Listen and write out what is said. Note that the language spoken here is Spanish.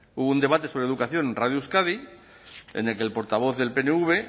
hubo un debate sobre educación en radio euskadi en el que el portavoz del pnv